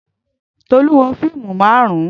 Tolú wo fíìmù marun-un